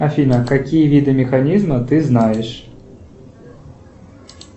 афина какие виды механизма ты знаешь